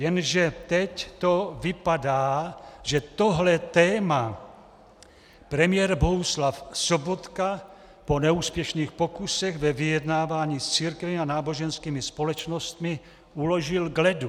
Jenže teď to vypadá, že tohle téma premiér Bohuslav Sobotka po neúspěšných pokusech ve vyjednávání s církvemi a náboženskými společnostmi uložil k ledu.